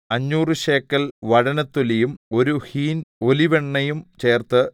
അഞ്ഞൂറ് ശേക്കെൽ വഴനത്തൊലിയും ഒരു ഹീൻ ഒലിവെണ്ണയും ചേർത്ത്